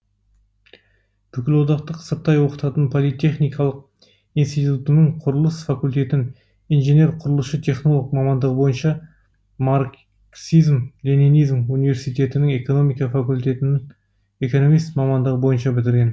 бүкілодақтық сырттай оқытатын политехникалық институтының құрылыс факультетін инженер құрылысшы технолог мамандығы бойынша марксизм ленинизм университетінің экономика факультетін экономист мамандығы бойынша бітірген